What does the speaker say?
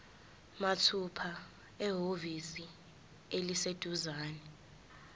mathupha ehhovisi eliseduzane